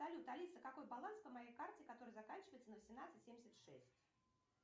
салют алиса какой баланс по моей карте которая заканчивается на семнадцать семьдесят шесть